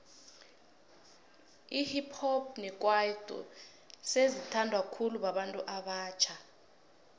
ihip hop nekwaito sezi thandwa khulu babantu abatjha